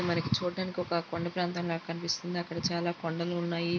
ఇది మనకి చూడడానికి ఒక కొండ ప్రాంతం లాగా కనిపిస్తుంది అక్కడ చాలా కొండలు ఉన్నాయి.